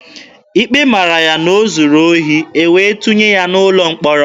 Ikpe mara ya na o zuru ohi, e wee tụnye ya n'ụlọ mkpọrọ.